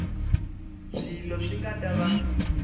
swilo swi nga ta va